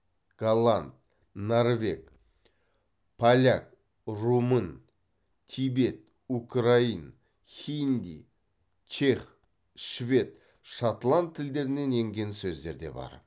голланд норвег поляк румын тибет украин хинди чех швед шотланд тілдерінен енген сөздер де бар